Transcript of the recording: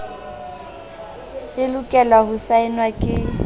e lokelwa ho saenwa ke